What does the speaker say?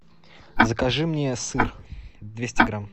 закажи мне сыр двести грамм